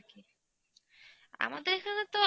আমাদের এখানে তো